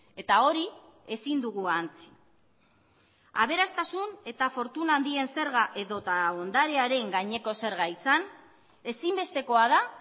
eta hori ezin dugu ahantzi aberastasun eta fortuna handien zerga edota ondarearen gaineko zerga izan ezinbestekoa da